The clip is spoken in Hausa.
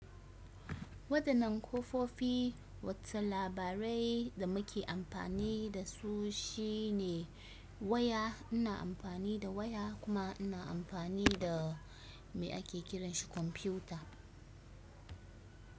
Wadannan kafofi, wata labarai da muke amfani da su shine waya. Ina amfani da waya kuma ina amfani da me ake kiranshi kwamfuta.